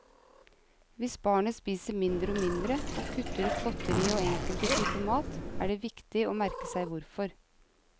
Hvis barnet spiser mindre og mindre, og kutter ut godterier og enkelte typer mat, er det viktig å merke seg hvorfor.